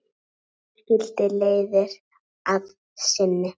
Síðan skildi leiðir að sinni.